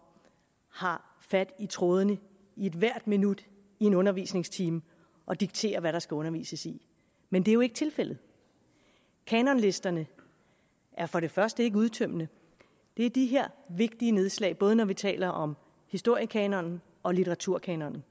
har fat i trådene i ethvert minut i en undervisningstime og dikterer hvad der skal undervises i men det er jo ikke tilfældet kanonlisterne er for det første ikke udtømmende det er de her vigtige nedslag både når vi taler om historiekanonen og litteraturkanonen